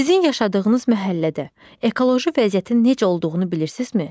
Sizin yaşadığınız məhəllədə ekoloji vəziyyətin necə olduğunu bilirsizmi?